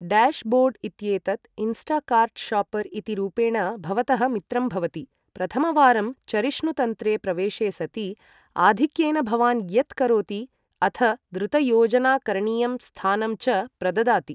Dashboard इत्येतत् Instacart shopper इति रूपेण भवतः मित्रं भवति, प्रथमवारं चरिष्णुतन्त्रे प्रवेशे सति आधिक्येन भवान् यत् करोति अथ द्रुतयोजनाकरणीयं स्थानं च प्रददाति।